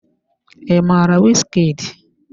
I mara Wizkid?